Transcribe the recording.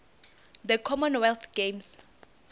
the common wealth games